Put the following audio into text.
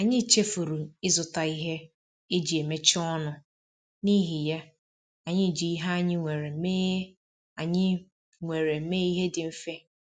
Anyị chefuru ịzụta ihe eji emechaa ọnụ, n’ihi ya, anyị ji ihe anyị nwere mee anyị nwere mee ihe dị mfe